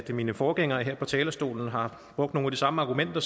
mine forgængere her på talerstolen har brugt nogle af de samme argumenter